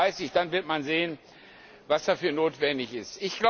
2030. Dann wird man sehen, was dafür notwendig ist.